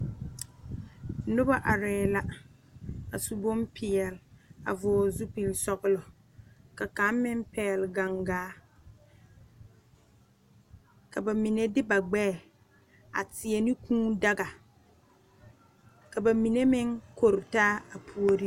Noba are la a su bonpeɛle a vɔgle zupele sɔglɔ ka kaŋ meŋ pegle gangaa ka bamine de ba gbɛ a teɛ ne kūū daga ka bamine meŋ koretaa a puori.